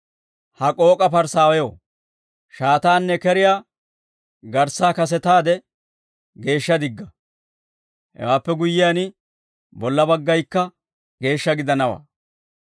Ha k'ook'a Parisaawew, shaataanne keriyaa garssaa kasetaade geeshsha digga; hewaappe guyyiyaan, bolla baggaykka geeshsha gidanawaa.